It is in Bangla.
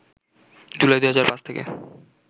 জুলাই ২০০৫ থেকে